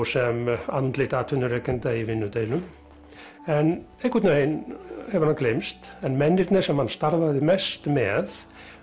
sem andlit atvinnurekenda í vinnudeilum en einhvern veginn hefur hann gleymst en mennirnir sem hann starfaði mest með